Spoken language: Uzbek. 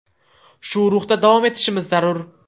Shu ruhda davom etishimiz zarur.